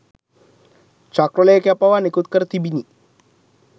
චක්‍රලේඛයක් පවා නිකුත් කර තිබිණි.